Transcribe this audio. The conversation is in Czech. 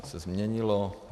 To se změnilo.